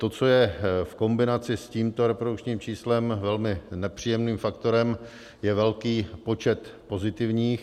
To, co je v kombinaci s tímto reprodukčním číslem velmi nepříjemným faktorem, je velký počet pozitivních.